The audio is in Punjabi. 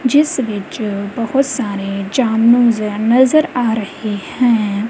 ਜਿਸ ਵਿੱਚ ਬਹੁਤ ਸਾਰੇ ਨਜ਼ਰ ਆ ਰਹੇ ਹੈਂ।